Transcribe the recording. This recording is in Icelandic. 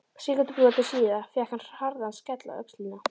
Sekúndubroti síðar fékk hann harðan skell á öxlina.